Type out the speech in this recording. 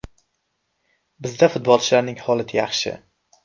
Bizda futbolchilarning holati yaxshi.